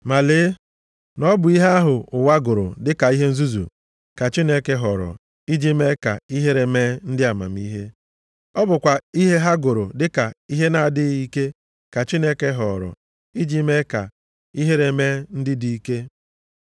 Ma lee na ọ bụ ihe ahụ ụwa gụrụ dịka ihe nzuzu, ka Chineke họrọ iji mee ka ihere mee ndị amamihe. Ọ bụkwa ihe ha gụrụ dịka ihe na-adịghị ike ka Chineke họọrọ iji mee ka ihere mee ndị dị ike.